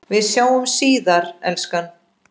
Við sjáumst síðar, elskan.